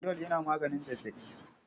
Panadol yana maganin zazzaɓi.